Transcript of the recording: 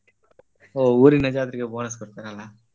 ಹೋ ಊರಿನ ಜಾತ್ರೆಗೆ bonus ಕೊಡ್ತಾರಲ್ಲ.